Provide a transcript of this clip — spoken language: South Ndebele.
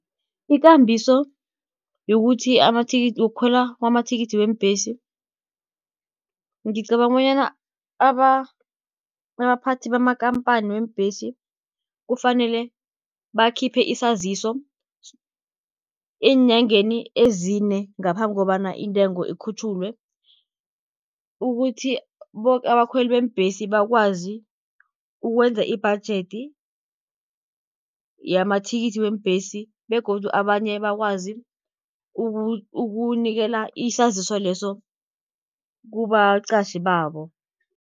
Ikambiso yokuthi amathikithi wokukhwela kwamathikithi weembhesi, ngicabanga bonyana abaphathi bamakampani weembhesi, kufanele bakhiphe isaziso eenyangeni ezine, ngaphambi kobana intengo ikhutjhulwe. Ukuthi abakhweli beembhesi bakwazi ukwenza ibhajedi yamathikithi weembhesi, begodu abanye bakwazi ukunikela isaziso leso kubaqatjhi babo.